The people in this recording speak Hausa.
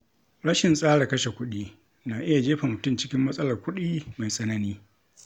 Rashin tsara kashe kuɗi na iya jefa mutum cikin matsalar kuɗi mai tsanani.